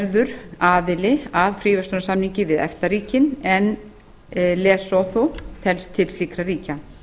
verður aðili að fríverslunarsamningi við efta ríkin en lesótó telst til slíkra ríkja